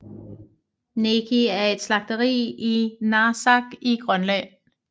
Neqi er et slagteri i Narsaq i Grønland